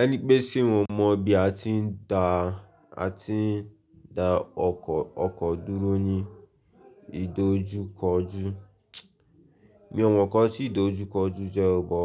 Ẹni pé se mo mọ bí a ti ń dá, a ti ń dá ọkọ̀, ọkọ̀ dúró ní ìdojúkọjú. Mi ò mọ̀ nkan tí ìdojúkọjú jẹ́ ó bó